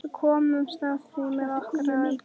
Við komumst af með okkar ráðum.